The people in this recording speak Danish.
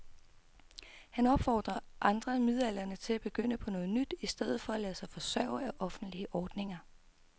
Han opfordrer andre midaldrende til at begynde på noget nyt i stedet for at lade sig forsørge af offentlige ordninger.